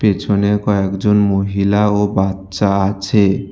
পিছনে কয়েকজন মহিলা ও বাচ্চা আছে।